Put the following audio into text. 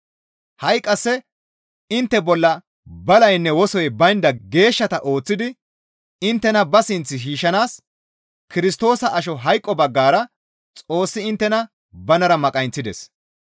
Ha7i qasse intte bolla balaynne wosoy baynda geeshshata ooththidi inttena ba sinth shiishshanaas Kirstoosa asho hayqo baggara Xoossi inttena banara maqayinththides.